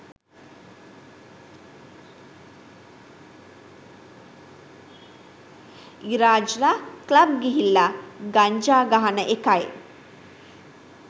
ඉරාජ්ල club ගිහිල්ලා ගංජා ගහන එකයි